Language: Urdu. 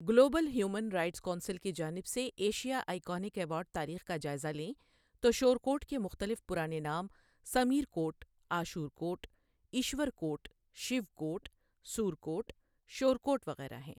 گلوبل ہیومین رائٹس کونسل کی جانب سے ایشیا آئی کونک ایوارڈ تاریخ کا جاٸزہ لیں تو شورکوٹ کے مختلف پرانے نام سمیر کوٹ، آشور کوٹ، ایشور کوٹ، شیو کوٹ، سور کوٹ، شور کوٹ وغیرہ ہیں۔